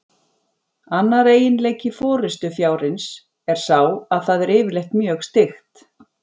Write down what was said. Annar eiginleiki forystufjárins er sá að það er yfirleitt mjög styggt.